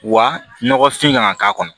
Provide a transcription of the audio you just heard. Wa nɔgɔfin kana k'a kɔnɔ